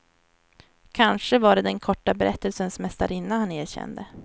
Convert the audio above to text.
Kanske var det den korta berättelsens mästarinna han erkände.